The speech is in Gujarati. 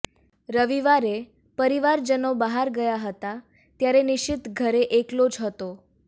રવિવારે પરિવારજનો બહાર ગયા હતા ત્યારે નિશીત ઘરે એકલો જ હતો